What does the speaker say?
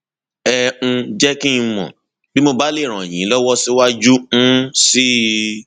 ẹ um jẹ kí n mọ bí mo bá lè ràn yín lọwọ síwájú um sí i